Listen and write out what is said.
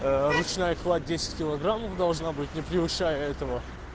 ручная кладь десять килограммов должна быть не превышая этого